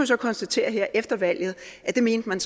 så konstatere her efter valget at det mente man